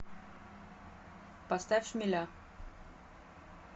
поставь шмеля